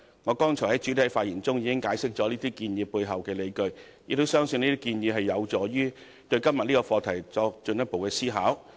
我昨天在發言中已解釋這些建議背後的理據，亦相信這些建議有助於對今天這個課題作進一步的思考。